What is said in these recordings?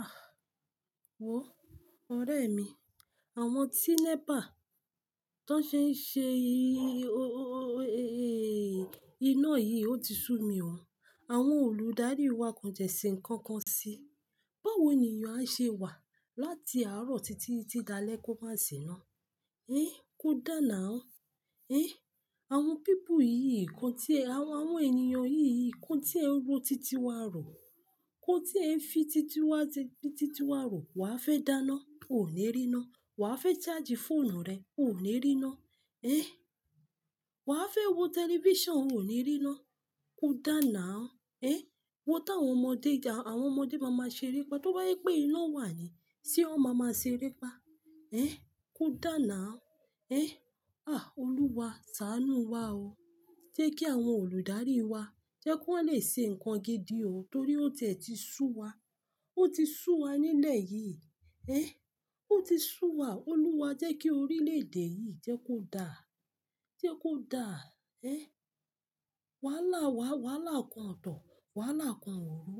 Ah! Wo, ọ̀rẹ́ mi, àwọn tí NEPA tó ṣe ń ṣe i-i-i-iná yìí ó ti sú mi wọn. Àwọn olùdarí wa kàn tiẹ́ ṣe nǹkan kan sí i. Báwo nìyàn a ṣe wà láti àárọ̀ títí di alẹ́ kó má sì ná. Ehn, kó dá now. Ehn, àwọn people yìí kan tí ẹ, àwọn ènìyàn yìí kan tí ẹ ń ro titi wa rọ, kó tí ẹ ń fi titi wa rọ, wà á fẹ́ dáná, o ò ní rí iná. Wà á fẹ́ charge fóònù rẹ, o ò ní rí iná. Ehn, wà á fẹ́ wo tẹlifíṣàn, o ò ní rí iná. Kó dáná. Ehn, wo tàwọn ọmọdé, àwọn ọmọdé máma ṣere pa, tó bá je pé iná wà ní, ṣé wọ́n máma ṣere pa? Ehn, kó dá now. Ehn, ah! Olúwa, sàánú wá o. Jẹ́ kí àwọn olùdarí wa, jẹ́ kí wọ́n lè ṣe nǹkan gidi o, torí ó tiẹ́ ti sú wa. Ó ti sú wa nílẹ̀ yìí. Ehn, ó ti sú wa. Olúwa, jẹ́ kí orílẹ̀ èdè yìí, jẹ́ kó dá, jẹ́ kó dá. Ehn, wàhálà wa, wàhálà kan ọ̀tọ̀, wàhálà kan òrò,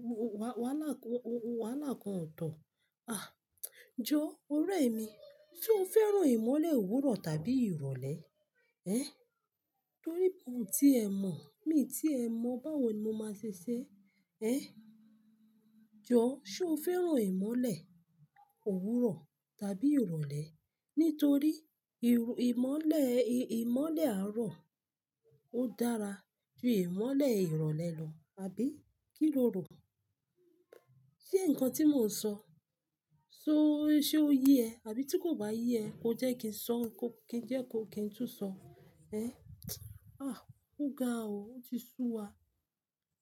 wàhálà kan ọ̀tọ̀. Ah! Jọ, ọ̀rẹ́ mi, ṣé o fẹ́ràn ìmọ́lẹ̀ òwúrọ̀ tàbí ìrọ̀lẹ́? Ehn, torí bí ò ti ẹ mọ̀, mi tí ẹ mọ̀, báwo ni mo máa ṣe ṣé? Ehn, jọ, ṣé o fẹ́ràn ìmọ́lẹ̀ òwúrọ̀ tàbí ìrọ̀lẹ́? Nítorí ìrù-ìmọ́lẹ̀, ì-ìmọ́lẹ̀ àárọ̀ ó dára ju ìmọ́lẹ̀ ìrọ̀lẹ́ lọ, àbí kí lo rò? Sé ǹkan tí mò ń sọ, ṣé o ye ẹ? Àbí tí kò bá ye ẹ, kó jẹ́ kí n sọ, kí n jẹ́ kó kí n tún sọ. Ehn, ah! Ó ga o, ó ti sú wa.